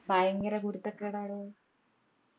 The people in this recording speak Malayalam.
ഭയങ്കര കുരുത്തക്കേടാടോ